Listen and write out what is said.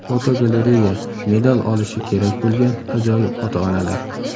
Fotogalereya: Medal olishi kerak bo‘lgan ajoyib ota-onalar.